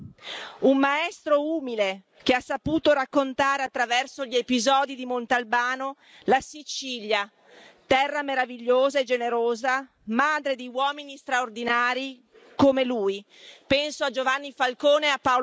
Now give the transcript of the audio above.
convinto europeista, un maestro umile che ha saputo raccontare, attraverso gli episodi di Montalbano, la Sicilia, terra meravigliosa e generosa, madre di uomini straordinari come lui.